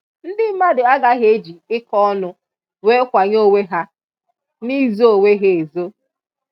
Ndị mmadụ agaghị e ji ịkọ ọnụ wee kwanyé onwe ha n'ịzo onwe ha ezo.